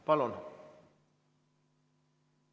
Palun!